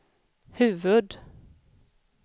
huvud-